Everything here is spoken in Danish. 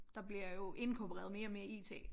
Der bliver jo inkorporeret mere og mere IT